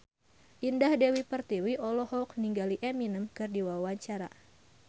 Indah Dewi Pertiwi olohok ningali Eminem keur diwawancara